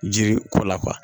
Jiri ko la